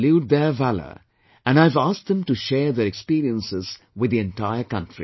I salute their valour and I have asked them to share their experiences with the entire country